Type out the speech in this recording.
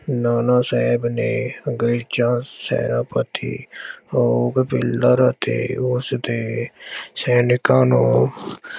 ਨਾਨਾ ਸਾਹਿਬ ਨੇ ਅੰਗਰੇਜ਼ਾਂ ਸੈਨਾਪਤੀ ਰੋਕ ਪਿਲਰ ਅਤੇ ਉਸਦੇ ਸੈਨਿਕਾਂ ਨੂੰ